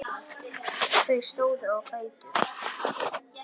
Þau stóðu á fætur.